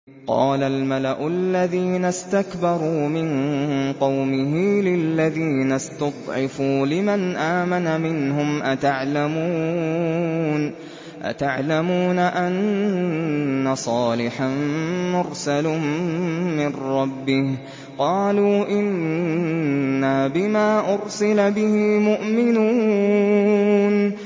قَالَ الْمَلَأُ الَّذِينَ اسْتَكْبَرُوا مِن قَوْمِهِ لِلَّذِينَ اسْتُضْعِفُوا لِمَنْ آمَنَ مِنْهُمْ أَتَعْلَمُونَ أَنَّ صَالِحًا مُّرْسَلٌ مِّن رَّبِّهِ ۚ قَالُوا إِنَّا بِمَا أُرْسِلَ بِهِ مُؤْمِنُونَ